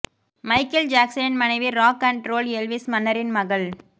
Michael ஜாக்சனின் மனைவி rock and roll Elvis மன்னரின் மகள்